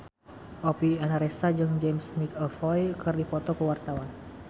Oppie Andaresta jeung James McAvoy keur dipoto ku wartawan